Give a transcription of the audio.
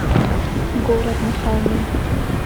город на холме